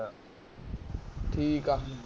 ਠੀਕ ਆ